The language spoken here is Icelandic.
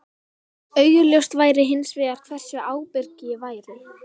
Augljóst væri hins vegar hversu ábyrg ég væri.